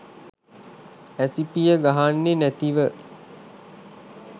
ඇසි පිය ගහන්නෙ නැතිව